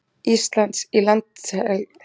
Íslands í landhelgisdeilunni.